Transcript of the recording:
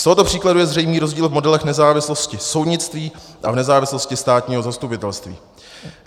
Z tohoto příkladu je zřejmý rozdíl v modelech nezávislosti soudnictví a v nezávislosti státního zastupitelství.